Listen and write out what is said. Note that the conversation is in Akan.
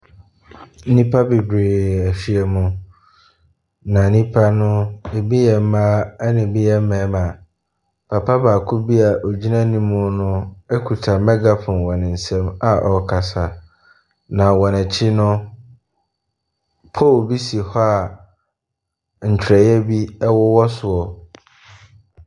Nnipa bebree ahyia mu, na nnipa no, ebi yɛ mmaa, ɛnna ebi yɛ mmarima. Papa baako bi a ɔgyina anim no kita megaphone wɔ ne nsam a ɔrekasa, na wɔn akyi no, pole bi si hɔ a ntwerɛeɛ bi wowɔ so.